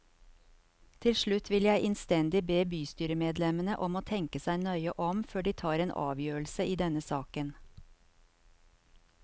Til slutt vil jeg innstendig be bystyremedlemmene om å tenke seg nøye om før de tar en avgjørelse i denne saken.